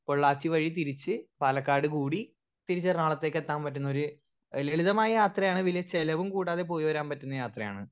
Speaker 1 Pollachi വഴി തിരിച്ച് പാലക്കാട് കൂടി തിരിച്ച് എറണാകുളത്തേക്ക് എത്താൻ പറ്റുന്നോര് എഹ് ലളിതമായ യാത്രയാണ് വല്യ ചെലവും കൂടാതെ പോയി വരാൻ പറ്റുന്ന യാത്രയാണ്.